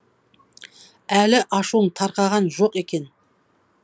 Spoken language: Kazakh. әлі ашуың тарқаған жоқ екен